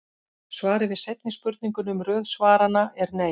Svarið við seinni spurningunni um röð svaranna er nei.